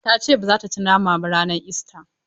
Ta ce ba za ta ci nama ba ranar ista.